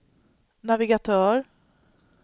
navigatör